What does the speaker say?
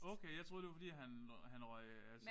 Okay jeg troede det var fordi han han røg